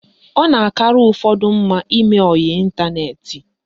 Ọ na-akara ụfọdụ mma ime oyi n'ịntaneti